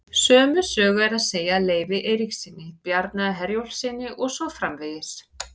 Sömu sögu er að segja af Leifi Eiríkssyni, Bjarna Herjólfssyni og svo framvegis.